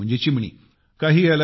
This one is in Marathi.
स्पॅरो म्हणजे चिमणी